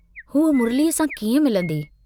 हू मुरलीअ सां कींअं मिलन्दी।